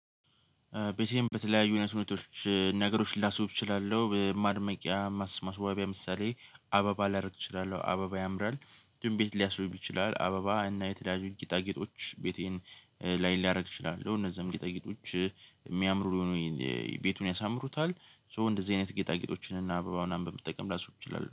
በሴም በተለያዩ እውነት ሁኔታዎች ነገሮችን ላስውብ እችላለሁ ማድመቂያ ማስማስ ዋቢያ ምሳሌ አባባ ላደርግ እችላለሁ አበባ ያምራል። ግን ቤት ሊያስቡብ ይችላል አበባ እና የትዳር ጊጣጌጦች ቤቴን ላይ ሊያደርግ ይችላል። እነዛም ጌጣጌጦች የሚያምሩ የሆኑ ቤቱን ያሳምሩታል። ሶ እንደዚህ አይነት ጌጣጌጦችን እና አበባ ምናምን በመጠቀም ላስውብ ትችላለህ